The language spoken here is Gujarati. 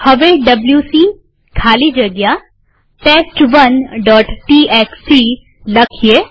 હવે ડબ્લ્યુસી ખાલી જગ્યા test1ટીએક્સટી લખીએ